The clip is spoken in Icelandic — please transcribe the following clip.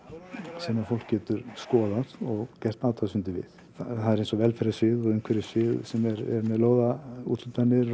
sem fólk getur skoðað og gert athugasemdir við það er eins og velferðarsvið og umhverfissvið sem er með lóðaúthlutanir og